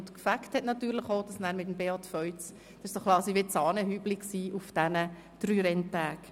Freude gemacht hat dann natürlich Beat Feuz – das war quasi das Sahnehäubchen über diesen drei Renntagen.